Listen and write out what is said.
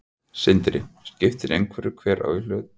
Sindri: Skiptir einhverju hver á í hlut?